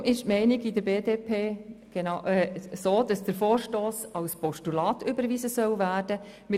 Darum ist es die Meinung der BDP, dass der Vorstoss als Postulat überwiesen werden soll.